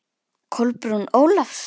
Kolbrún Ólafs.